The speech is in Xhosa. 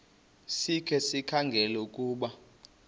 sikhe sikhangele ukuba